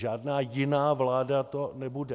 Žádná jiná vláda to nebude.